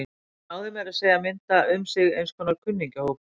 Hann náði meira að segja að mynda um sig eins konar kunningjahóp.